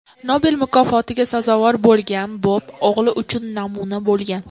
Nobel mukofotiga sazovor bo‘lgan Bob o‘g‘li uchun namuna bo‘lgan.